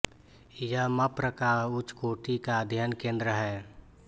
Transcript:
यह मप्र का उच्चकोटि का अध्ययन केँद्र है